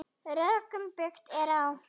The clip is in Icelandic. Rökum byggt er á.